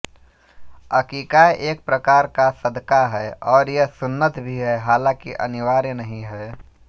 अकीक़ा एक प्रकार का सदक़ा है और यह सुन्नत भी है हालांकि अनिवार्य नहीं है